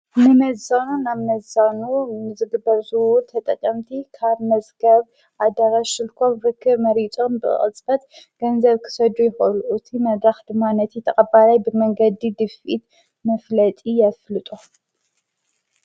ንመዛኑ ናብ ነዛኑ ምዝግበርዙው ተጠቀምቲ ካድ መዝገብ ኣዳራ ሽልኮም ብክ መሪጾም ብቅልበት ገንዘብ ክሰዱ ይሃሉኡቲ መድራኽ ድማነቲ ተቐባላይ ብመንገዲ ድፊድ መፍለጢ የፍልጦ።